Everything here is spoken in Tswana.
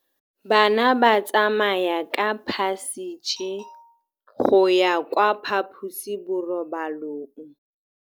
Bana ba tsamaya ka phašitshe go ya kwa phaposiborobalong.